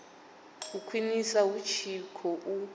a khwiniswe hu tshi khou